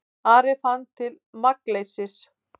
Ari fann til magnleysis.